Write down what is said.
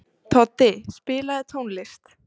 Toddi, spilaðu tónlist.